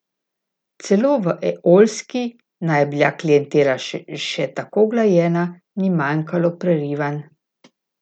Celo v Eolski, naj je bila klientela še tako uglajena, ni manjkalo prerivanj.